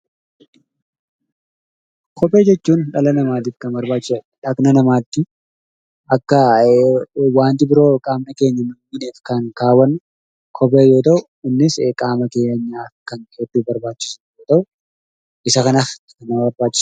Kopheewwan dhala namaaf barbaachisoodha. Dhaqna keenya akka waanti biroo hin miineef kan keewwannu kophee yoo ta'u, innis qaama keenyaaf kan hedduu barbaachisudha.